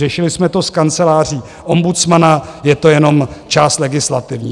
Řešili jsme to s Kanceláří ombudsmana, je to jenom část legislativní.